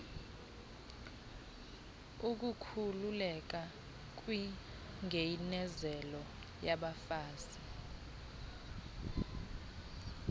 ukukhuululeka kwingeinezelo yabafazi